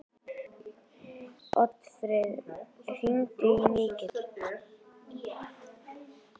Oddfreyr, hringdu í Mikil.